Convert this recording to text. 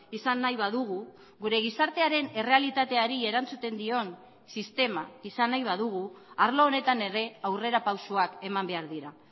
izan nahi badugu gure gizartearen errealitateari erantzuten dion sistema izan nahi badugu arlo honetan ere aurrera pausoak eman behar dira